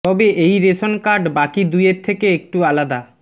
তবে এই ration card বাকি দুইয়ের থেকে একটু আলাদা